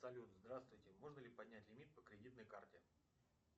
салют здравствуйте можно ли поднять лимит по кредитной карте